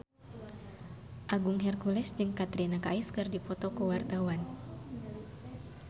Agung Hercules jeung Katrina Kaif keur dipoto ku wartawan